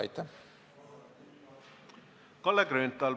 Ei, ma ei karda seda.